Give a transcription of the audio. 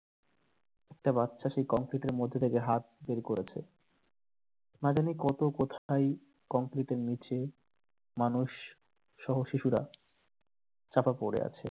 একটা বাচ্চা সে কংক্রিটের মধ্যে থেকে হাত বের করেছে নাজানি কত কোথায় কংক্রিটের নিচে মানুষ সহ শিশুরা চাপা পড়ে আছে